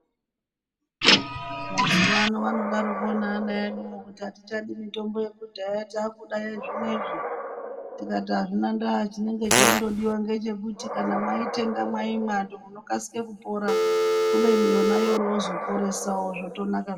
Mazuva anodaroko neana eduvo kuti hatichadi mitombo yakudhaya takuda yezvinoizvi. Tikati hazvina ndaa chinenge cheingodiva ngechekuti kana maitenga maimwando munokasike kupora kubeni yoro yozvoporesavo zvotonaka.